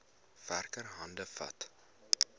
werker hande vat